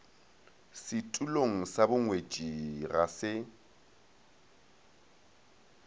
setulong sa bongwetši ga se